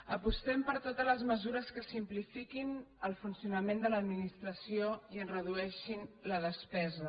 apostem per totes les mesures que simplifiquin el fun·cionament de l’administració i en redueixin la despe·sa